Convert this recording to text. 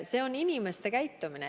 See on inimeste käitumine.